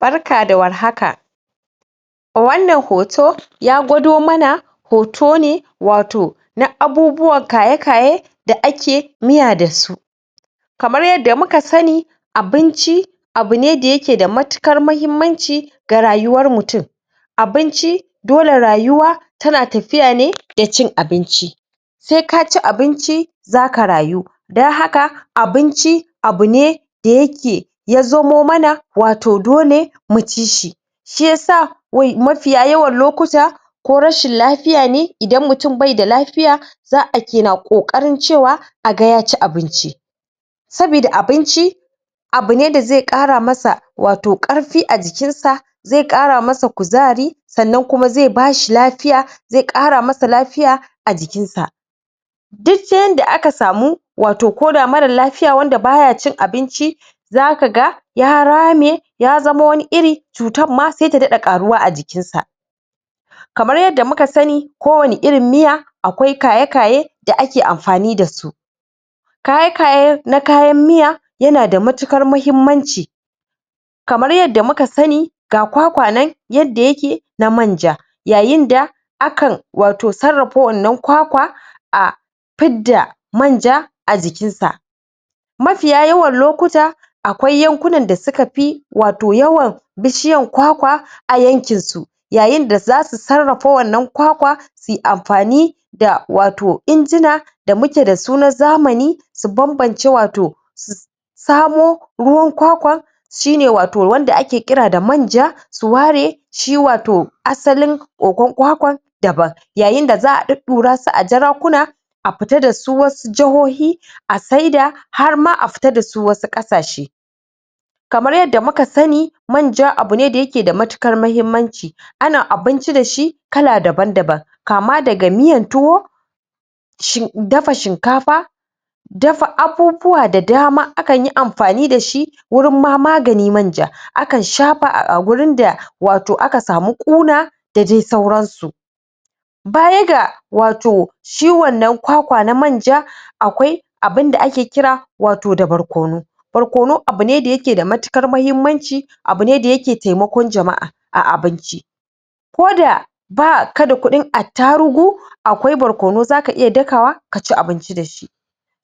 Barka da warhaka wanan hoto ya gudo manna hoto ne wato na abubuwa kaye kaye da aka miya dasu kamar yenda muka sani abinchi abune da yake da matuƙar mahimmachi da rayuwar mutum abinchi dole rayuwar tana tafiya ne da chin abinchi sai ka chin abinchi zaka rayu dan haka abinchi abune doki yazo maiymana wato dole mu cishi shi yasa wai mafiya yawar moƙutar ko rashin lfiyar ne, indan mutum bai da lafiyar za a ei kokarin cewar agan ya ci abinchi sobada abinchi abun ne dazai karama sa wato karfi a cikin sa za karama sai kuzari sanan kuma zai bashi lafiyar zai kara masa lafiyar a cikin sa duk san da aka samu wato ko da mara lafiyar waanda baya chin abinchi zaka ga ya rami yazama wani iri cutar ma sa ye dadai karuwa a cikin sa kamar yenda muka sani ko wani irin miya akwai kaya kaya da aka amfani dasu kaye kaye na kayan miya yenada mutuƙar muhimmanchi kamar yenda muka sani ga kwakwa nan wan da ye ke na maija yayin da akan wato sarafa wanan kwakwa ah dida maija a ciki sa maisiyar yawar lokutar akwai yankuna da suka fi wato yawa bushiyar kwakwa a yankan su yayi da zasu sarafo wannan kwakwa su anfani da wato engina da muka da suna zamani su babance wa wato si kawo ruwan kwakwa shi ne wato wannan aka kira na maija su ware shi wato asalin koko kwakwa daban yayin daza a dudurashi a jarakuna a fitar da su wasu jarohi a sidar harma a fitar dasu wasu kasace kamar yenda muka sani maija abune da yake da matukar mahimmachi ana abinchi dashi kala daban daban kama daga miyar tuwo shin dafa shinkafa dafa abubuwa da dama akan yi anfani dashi wuri mama da maija akan shafa a wurin da wato aka samu coolar da dai sauran su baya da wato ciwo da kwakwa da maija akwai abun da ake kira wato da barkonu barkono dayake da muhimmanchi abu ne dayake taimoko jamah a abinchi koda ba kada kudi attarugu akwai brokonu za ta iya dakawa ta chi abinchi dashi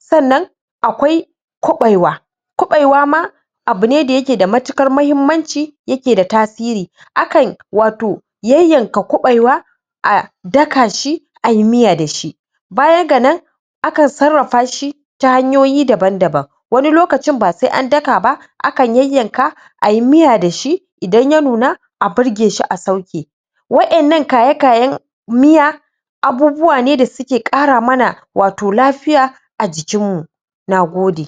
shina akwai kubewa kubewa ma abune da yake da matikar muhimmanchi yake da tsatire akan wato yenyenka kubewa ah daka shi ayi miya dashi baya ganan aka sarafa shi ta hanyoyin dababn daban wani lokachi ba sai a daka ba akan yenyenka ayi miya dashi idan yenuna a birgashi a sauka waina kya kya miya abubuwa ne dasuka karamana wato lafiya a cikin mu nagode